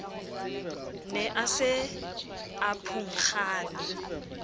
ne a se a phunkgane